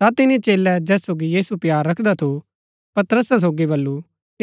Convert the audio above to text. ता तिनी चेलै जैस सोगी यीशु प्‍यार रखदा थू पतरसा सोगी बल्लू